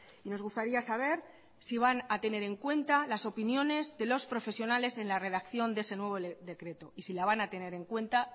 y nos gustaría saber si van a tener en cuenta las opiniones de los profesionales en la redacción de ese nuevo decreto y si la van a tener en cuenta